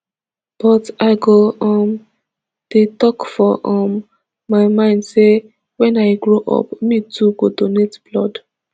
but i go um dey tok for um my mind say wen i grow up me too go donate blood